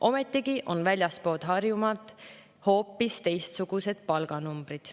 Ometigi on väljaspool Harjumaad hoopis teistsugused palganumbrid.